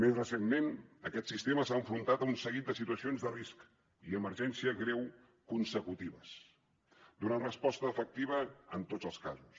més recentment aquest sistema s’ha enfrontat a un seguit de situacions de risc i emergència greu consecutives i hi ha donat resposta efectiva en tots els casos